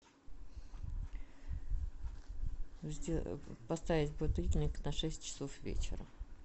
поставить будильник на шесть часов вечера